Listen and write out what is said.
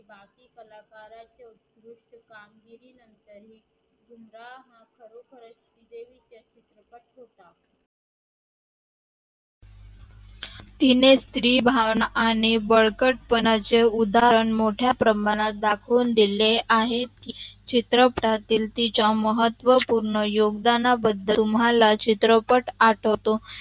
तिने स्त्री भावना आणि बडकट पणाचे उद्धाहरण मोठ्या दाखून दिले आहे की चित्रपटातिल तिच्या महत्व पूर्ण योगदाणा बदल तुम्हाला चित्रपट आठवतो